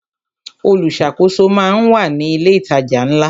Olùṣàkóso máa ń wà ní ilé ìtajà ńlá.